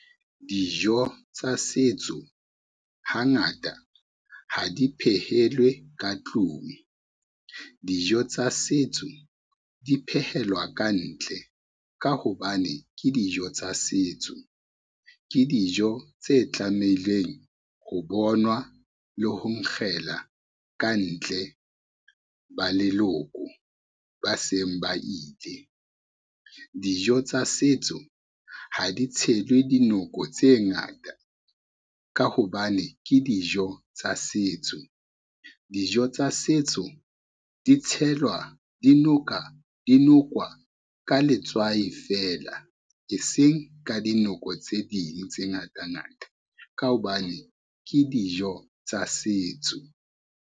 Dijo tsa setso hangata ha di phehelwe ka tlung. Dijo tsa setso di phehelwa ka ntle ka hobane ke dijo tsa setso, ke dijo tse tlameileng ho bonwa le ho nkgela ka ntle ba leloko ba seng ba ile. Dijo tsa setso ha di tshelwe dinoko tse ngata ka hobane ke dijo tsa setso, dijo tsa setso di nokwa ka letswai feela, ke seng ka dinoko tse ding tse ngata ngata, ka hobane ke dijo tsa setso.